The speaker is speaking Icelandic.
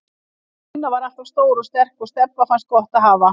Stína var alltaf stór og sterk og Stebba fannst gott að hafa